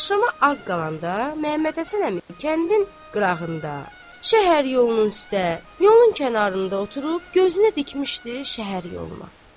Axşama az qalanda Məmmədhəsən əmi kəndin qırağında, şəhər yolunun üstdə, yolun kənarında oturub gözünü dikmişdi şəhər yoluna.